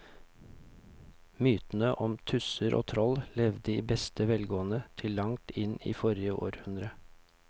Mytene om tusser og troll levde i beste velgående til langt inn i forrige århundre.